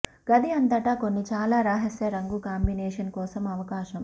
గది అంతటా కొన్ని చాలా రహస్య రంగు కాంబినేషన్ కోసం అవకాశం